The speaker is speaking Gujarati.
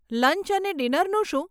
લંચ અને ડિનરનું શું?